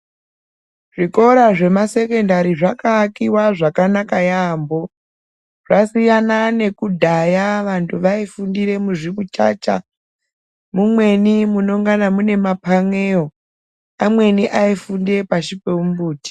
Zvikora zvemasekendari zvakaakiwa zvakanaka yaampho .Zvasiyana nekudhaya vantu vaifundire muzvimuchacha, mumweni munengana muine maphan'eyo. Amweni aifunde pashi pomumbuti.